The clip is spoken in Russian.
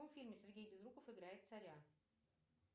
в каком фильме сергей безруков играет царя